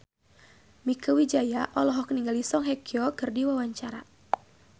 Mieke Wijaya olohok ningali Song Hye Kyo keur diwawancara